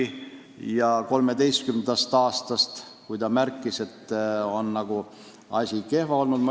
2013. aastast alates on asi nagu kehva olnud.